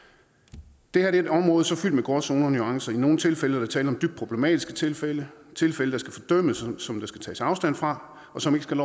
det her er et område fyldt med gråzoner og nuancer i nogle tilfælde er der tale om dybt problematiske tilfælde tilfælde der skal fordømmes og som der skal tages afstand fra og som ikke skal